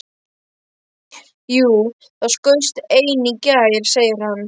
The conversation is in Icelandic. Jú, það skaust ein í gær, segir hann.